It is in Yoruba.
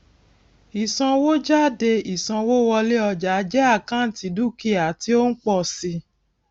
ìsanwójáde ìsanwówọlé ọjà jẹ àkáǹtì dúkìá tí ó ń pọ síi